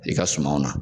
I ka sumanw na